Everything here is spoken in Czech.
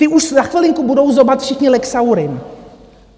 Ti už za chvilinku budou zobat všichni Lexaurin.